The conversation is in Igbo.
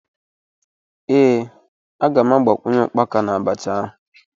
Ee, m ga-agbakwunye ukpaka na abacha